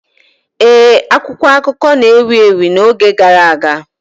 Ee, akwụkwọ akụkọ na-ewu ewu n'oge gara aga.